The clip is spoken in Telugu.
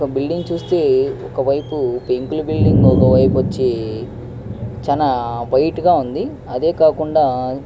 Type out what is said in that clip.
ఒక్క బిల్డింగ్ చూస్తే ఒకవైపు పెంకులు బిల్డింగ్ ఒకవైపు వచ్చి చాలా వైట్ గా ఉంది. అదే కాకుండా --